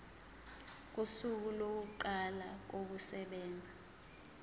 kosuku lokuqala kokusebenza